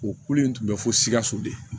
O kulu in tun bɛ fo sikaso de